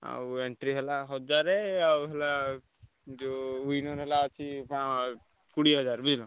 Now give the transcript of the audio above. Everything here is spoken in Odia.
ଆଉ entry ହେଲା ହଜାର ଆଉ ହେଲା ଯୋଉ winner ହେଲା ଅଛି କୋଡିଏ ହଜାର ବୁଝିଲ।